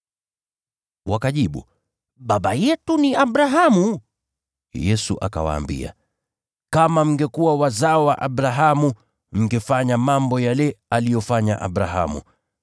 Wakajibu, “Baba yetu ni Abrahamu.” Yesu akawaambia, “Kama mngekuwa wazao wa Abrahamu mngefanya mambo yale aliyofanya Abrahamu.